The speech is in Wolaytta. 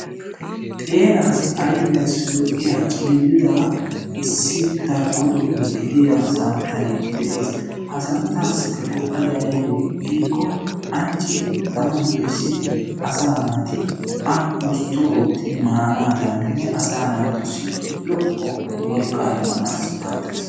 Xeelaassi ayfiyassi lo"iya cililidaa issi darkko doonaa gidiya santtay de"ees. Ha santtaassikka go'iya anccidi tamman doyssidi asaa naati a ustto oottidi maanaadaninne asaa naatussi lo"o wolqqa immanaassi maaddees.